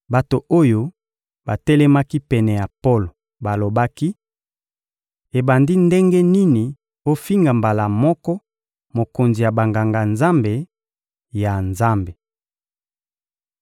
Bato oyo batelemaki pene ya Polo balobaki: — Ebandi ndenge nini ofinga mbala moko mokonzi ya Banganga-Nzambe, ya Nzambe!